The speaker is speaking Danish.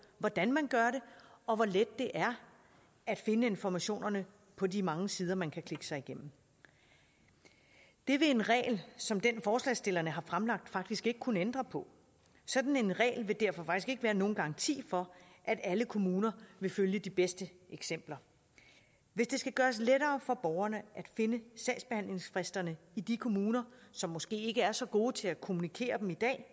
hvordan man gør det og hvor let det er at finde informationerne på de mange sider man kan klikke sig igennem det vil en regel som den forslagsstillerne har fremlagt faktisk ikke kunne ændre på sådan en regel vil derfor ikke være nogen garanti for at alle kommuner vil følge de bedste eksempler hvis det skal gøres lettere for borgerne at finde sagsbehandlingsfristerne i de kommuner som måske ikke er så gode til at kommunikere dem i dag